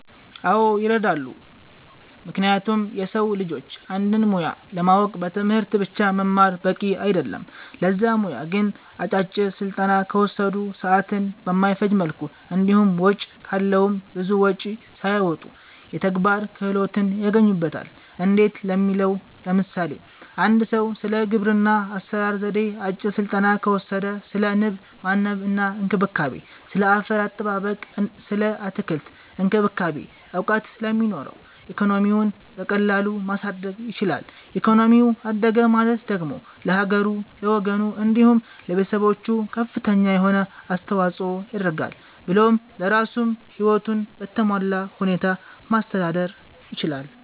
አዎ ይረዳሉ ምክንያቱም የሰዉ ልጆች አንድን ሙያ ለማወቅ በትምህርት ብቻ መማር በቂ አይደለም ለዛ ሙያ ግን አጫጭር ስልጠና ከወሰዱ፣ ሰዓትን በማይፈጅ መልኩ እንዲሁም ወጪ ካለዉም ብዙ ወጪም ሳያወጡ የተግባር ክህሎትን ያገኙበታል እንዴት ለሚለዉ ለምሳሌ፦ አንድ ሰዉ ስለ ግብርና አሰራር ዜዴ አጭር ስልጠና ከወሰደ ስለ ንብ ማነብ እና እንክብካቤ፣ ስለ አፈር አጠባበቅ ስለ አትክልት እክንክብካቤ እዉቀት ስለሚኖረዉ ኢኮኖሚዉን በቀላሉ ማሳደግ ይችላል ኢኮኖሚው አደገ ማለት ደግሞ ለሀገሩ፣ ለወገኑ፣ እንዲሁም ለቤተሰቦቹ ከፍተኛ የሆነ አስተዋፅኦ ያደርጋል ብሎም ለራሱም ህይወቱን በተሟላ ሁኔታ ማስተዳደር ይችላል።